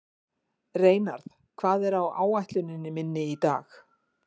Reynarð, hvað er á áætluninni minni í dag?